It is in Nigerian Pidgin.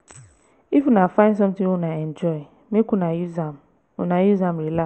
if una find sometin wey una enjoy make una use am una use am.